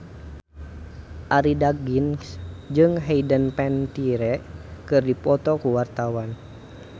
Arie Daginks jeung Hayden Panettiere keur dipoto ku wartawan